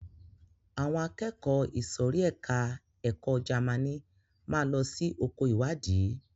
Àwọn akẹ́kọ̀ọ́ ìsòrí ẹka ẹ̀kọ́ Jamaní máa lọ sí oko ìwádìí.